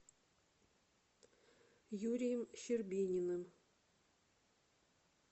юрием щербининым